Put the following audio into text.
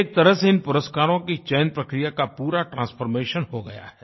एक तरह से इन पुरस्कारों की चयनप्रक्रिया का पूरा ट्रांसफॉर्मेशन हो गया है